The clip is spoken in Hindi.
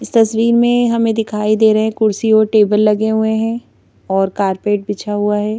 इस तस्वीर में हमें दिखाई दे रहे हैं कुर्सी और टेबल लगे हुए हैं और कारपेट बिछा हुआ है।